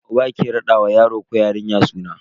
Uba ke rada wa yaro ko yarinya suna.